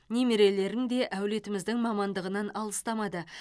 немерелерім де әулетіміздің мамандығынан алыстамады